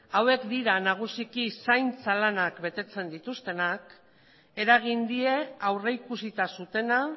hauek dira nagusiki zaintza lanak betetzen dituztenak eragin die aurrikusita zutena